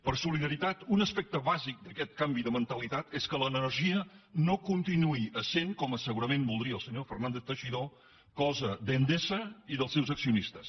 per solidaritat un aspecte bàsic d’aquest canvi de mentalitat és que l’energia no continuï essent com segurament voldria el senyor fernández teixidó cosa d’endesa i dels seus accionistes